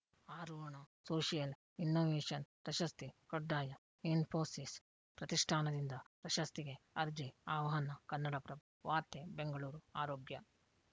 ಆರೋಹಣ social innovation ಪ್ರಶಸ್ತಿ ಕಡ್ಡಾಯ ಇಸ್ಫೋಸಿಸ್‌ ಪ್ರತಿಷ್ಠಾನದಿಂದ ಪ್ರಶಸ್ತಿಗೆ ಅರ್ಜಿ ಆಹ್ವಾನ ಕನ್ನಡಪ್ರಭ ವಾರ್ತೆ ಬೆಂಗಳೂರು ಆರೋಗ್ಯ